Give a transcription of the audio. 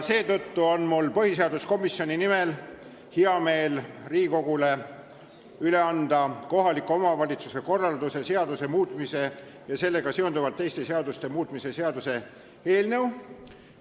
Mul on põhiseaduskomisjoni nimel hea meel anda Riigikogule üle kohaliku omavalitsuse korralduse seaduse muutmise ja sellega seonduvalt teiste seaduste muutmise seaduse eelnõu.